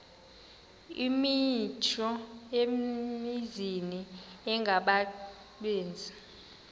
imithqtho emininzi engabaqbenzi